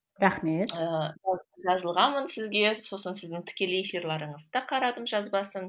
рахмет ыыы жазылғанмын сізге сосын сіздің тікелей эфирлеріңізді де қарадым жазбасын